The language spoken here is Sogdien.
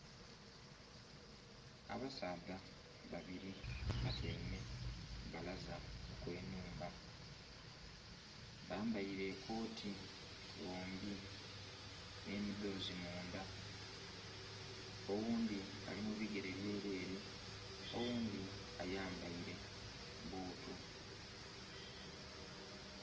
Abasaadha babiri batyaime ku balaza ghe nhumba, bambaire ekoti bombi nhe midhozi mundha oghundhi ali mu bigere byerere, oghundhi ayambaire butu.